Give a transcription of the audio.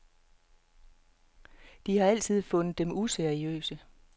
De har altid fundet dem useriøse.